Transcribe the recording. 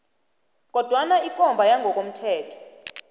kodwana ikomba yangokomthetho